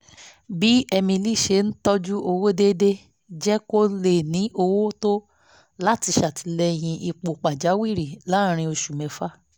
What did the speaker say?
bí emily ṣe ń tọ́jú owó déédéé jẹ́ kó lè ní owó tó láti ṣètìlẹ́yìn ipò pàjáwìrì láàárín oṣù mẹ́fà